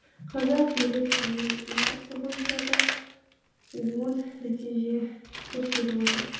қазақ елі түрме индексі бойынша да оң нәтиже көрсетіп отыр